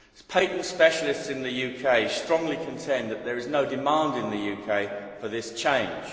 Patent specialists in the UK strongly contend that there is no demand in the UK for this change.